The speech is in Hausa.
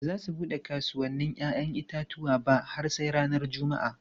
Ba za su bude kasuwannin 'ya'yan itatuwa ba har sai ranar Juma'a.